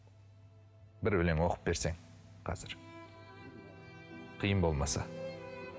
бір өлең оқып берсең қазір қиын болмаса